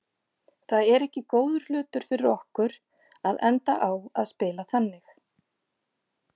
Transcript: Það er ekki góður hlutur fyrir okkur að enda á að spila þannig.